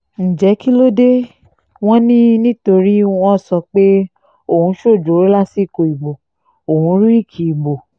ǹjẹ́ kí ló dé wọn ni nítorí wọ́n sọ pé òun ṣojooro lásìkò ìbò òun rìkì ìbò